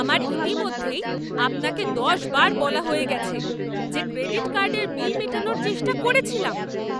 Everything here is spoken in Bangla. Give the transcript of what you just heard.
আমার ইতিমধ্যেই আপনাকে দশবার বলা হয়ে গেছে যে ক্রেডিট কার্ডের বিল মেটানোর চেষ্টা করেছিলাম